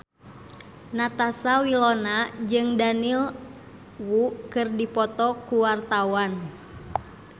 Natasha Wilona jeung Daniel Wu keur dipoto ku wartawan